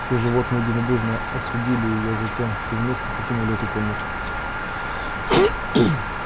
все животные единодушно осудили её и затем все вместе покинули эту комнату